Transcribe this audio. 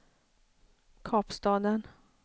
Kapstaden